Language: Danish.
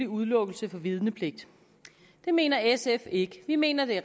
udelukkelse fra vidnepligt det mener sf ikke vi mener at det